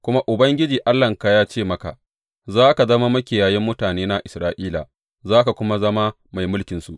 Kuma Ubangiji Allahnka ya ce maka, Za ka zama makiyayin mutanena Isra’ila, za ka kuma zama mai mulkinsu.’